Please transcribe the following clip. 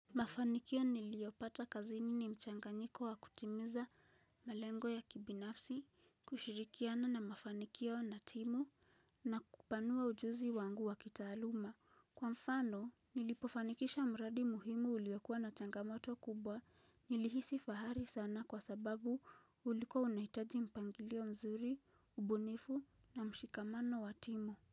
Mafanikio niliopata kazini ni mchanganyiko wa kutimiza malengo ya kibinafsi, kushirikiana na mafanikio na timu, na kupanua ujuzi wangu wa kitaaluma. Kwa mfano, nilipofanikisha mradi muhimu uliyokuwa na changamoto kubwa nilihisi fahari sana kwa sababu ulikuwa unahitaji mpangilio mzuri, ubunifu na mshikamano wa timu.